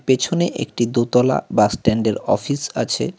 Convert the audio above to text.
পেছনে একটি দোতলা বাসস্ট্যান্ডের অফিস আছে।